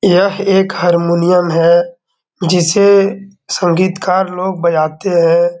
यह एक हर्मोनियम है जिसे संगीतकार लोग बजाते हैं।